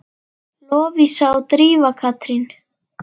Lovísa og Drífa Katrín.